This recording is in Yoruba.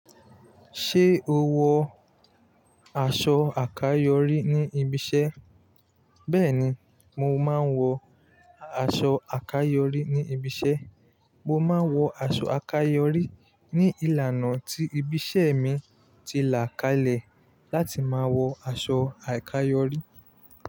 Ṣé o wọ aṣọ àkáyorí ní ibi iṣẹ́? Bẹ́ẹ̀ni, mo máa ń wọ aṣọ àkáyorí ní ibi iṣẹ́. Mo máa ń wọ aṣọ àkáyorí ní ìlànà tí ibi iṣẹ́ mi ti là kalẹ̀ láti máa wọ aṣọ àkáyorí.